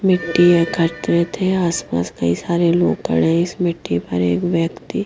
मिट्टी एकत्रित है आसपास कई सारे लोग खड़े है इस मिट्टी पर एक व्यक्ति --